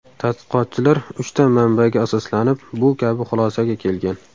Tadqiqotchilar uchta manbaga asoslanib bu kabi xulosaga kelgan.